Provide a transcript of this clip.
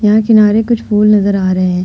यहां किनारे कुछ फूल नज़र आ रहे है।